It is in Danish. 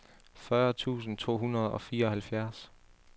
fyrre tusind to hundrede og fireoghalvfjerds